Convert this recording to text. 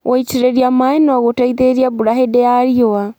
Gũitĩrĩria maĩ no gũteithĩrĩrie mbura hĩndĩ ya riũa.